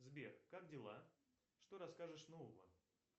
сбер как дела что расскажешь нового